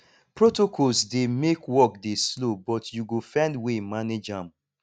protocols dey make work dey slow but you go find way manage am